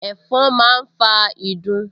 Ẹ̀fọn máa ń fa ìdun